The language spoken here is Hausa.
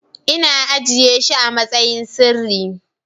Ina ajiye shi amasayin asiri.